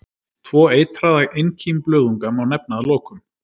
Tvo eitraða einkímblöðunga má nefna að lokum.